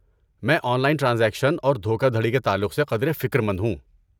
میں online transaction اور دھوکہ دھڑی کے تعلق سے قدرے فکرمند ہوں۔